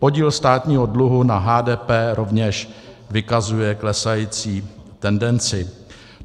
Podíl státního dluhu na HDP rovněž vykazuje klesající tendenci.